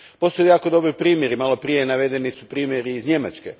Postoje jako dobri primjeri, maloprije su navedeni primjeri iz Njemačke.